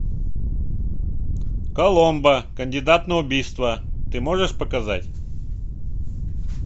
коломбо кандидат на убийство ты можешь показать